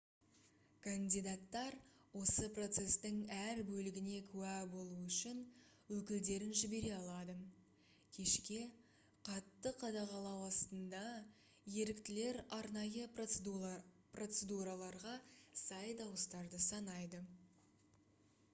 кандидаттар осы процестің әр бөлігіне куә болуы үшін өкілдерін жібере алады кешке қатты қадағалау астында еріктілер арнайы процедураларға сай дауыстарды санайды